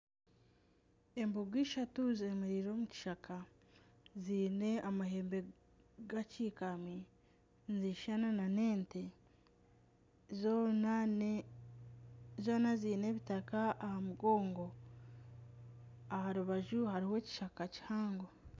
Embogo ishatu zemereire omu kishaka ziine amahembe gakyikami nizishushana na n'ente zoona ziine ebitaka aha mugongo aha rubaju hariho ekishaka kihango.